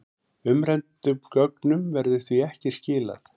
Umræddum gögnum verður því ekki skilað